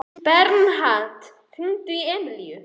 Bernharð, hringdu í Emilíu.